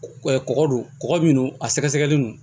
kɔkɔ dun kɔgɔ min don a sɛgɛsɛgɛli no